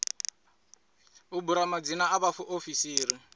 u bula madzina a vhaofisiri